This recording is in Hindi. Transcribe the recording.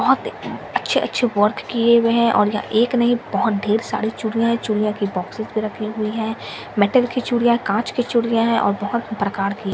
बहुत अच्छे अच्छे वर्क किए हुए है और यहाँ एक नहीं बहुत ढेर सारी चूड़ियाँ है चूड़ियाँ की बॉक्सेस में रखी हुई है मेटल की चूड़ियाँ काँच की चूड़ियाँ है और बहुत प्रकार की --